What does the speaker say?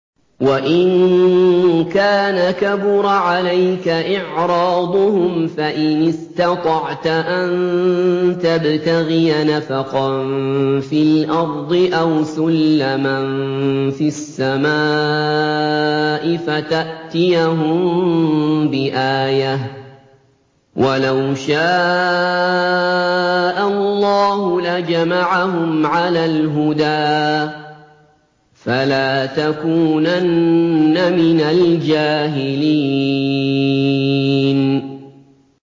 وَإِن كَانَ كَبُرَ عَلَيْكَ إِعْرَاضُهُمْ فَإِنِ اسْتَطَعْتَ أَن تَبْتَغِيَ نَفَقًا فِي الْأَرْضِ أَوْ سُلَّمًا فِي السَّمَاءِ فَتَأْتِيَهُم بِآيَةٍ ۚ وَلَوْ شَاءَ اللَّهُ لَجَمَعَهُمْ عَلَى الْهُدَىٰ ۚ فَلَا تَكُونَنَّ مِنَ الْجَاهِلِينَ